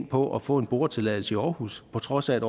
på at få en boretilladelse i aarhus på trods af at